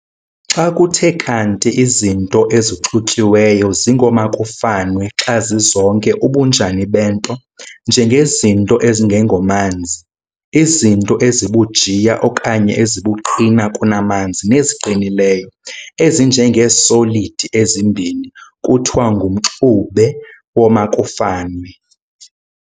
Xa kuthe kanti izinto ezixutyiweyo zingoomakufanwe xa zizonke ubunjani bento, njengezinto ezingengomanzi, izinto ezibujiya okanye ezibuqina kunamanzi, neziqinileyo, ezinje ngee-solid ezimbini, kuthiwa ng"umxube womakufanwe".